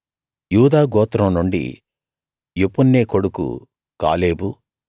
యూదా గోత్రం నుండి యెఫున్నె కొడుకు కాలేబు